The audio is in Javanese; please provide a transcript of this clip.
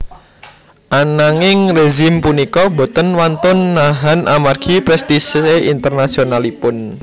Ananging rezim punika boten wantun nahan amargi prestise internasionalipun